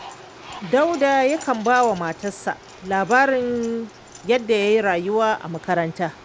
Dauda yakan ba wa matarsa labarin yadda ya yi rayuwa a makaranta